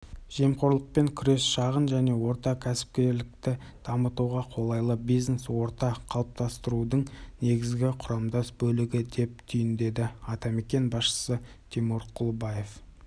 жемқорлықпен күрес шағын және орта кәсіпкерлікті дамытуға қолайлы бизнес-орта қалыптастырудың негізгі құрамдас бөлігі деп түйіндеді атамекен басшысы тимур құлыбаев